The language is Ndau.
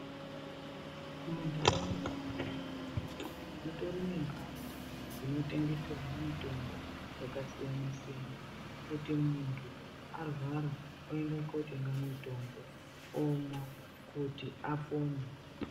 Mundaraunda mutori nembatso dzinotengeserwe mitombo yakasiyana siyana kuti muntu arwara ondotenga mutombo omwa kuti apone.